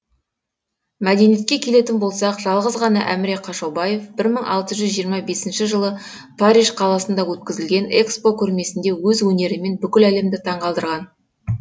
мәдениетке келетін болсақ жалғыз ғана әміре қашаубаев бір мың алты жүз жиырма бес жылы париж қаласында өткізілген экспо көрмесінде өз өнерімен бүкіл әлемді таңқалдырған